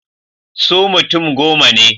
Su mutum goma ne.